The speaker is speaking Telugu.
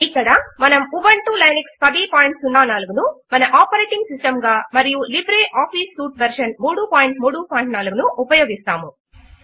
ఇక్కడ మనము ఉబంటు లైనెక్స్ 1004 ను మన ఆపరేటింగ్ సిస్టమ్ గా మరియు లైబ్రె ఆఫీస్ సూట్ వెర్షన్ 334 ను ఉపయోగిస్తాము